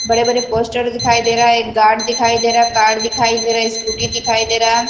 बड़े-बड़े पोस्टर दिखाई दे रहा है एक गार्ड दिखाई दे रहा है कार दिखाई दे रहा स्कूटी दिखाई दे रहा --